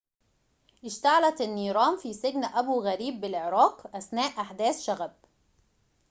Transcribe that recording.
اشتعلت النيران في سجن أبو غريب بالعراق أثناء أحداث شغب